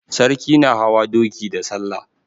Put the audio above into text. Sarki na hawa doki da salla.